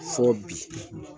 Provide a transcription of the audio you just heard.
Fɔɔɔ bi.